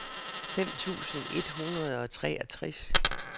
fem tusind et hundrede og treogtres